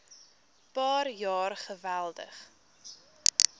paar jaar geweldig